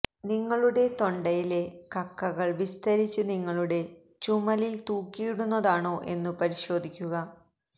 നിങ്ങളുടെ തൊണ്ടയിലെ കക്കകൾ വിസ്തരിച്ച് നിങ്ങളുടെ ചുമലിൽ തൂക്കിയിടുന്നതാണോ എന്നു പരിശോധിക്കുക